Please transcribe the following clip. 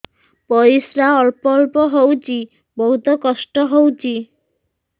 ପରିଶ୍ରା ଅଳ୍ପ ଅଳ୍ପ ହଉଚି ବହୁତ କଷ୍ଟ ହଉଚି